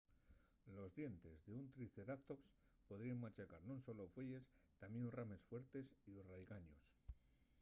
los dientes d'un triceratops podríen machacar non solo fueyes tamién rames fuertes y raigaños